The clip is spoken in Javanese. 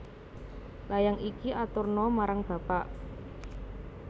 Layang iki aturna marang bapak